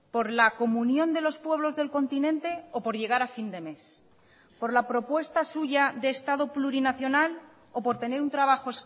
por la comunión de los pueblos del continente o por llegar a fin de mes por la propuesta suya de estado plurinacional o por tener un trabajo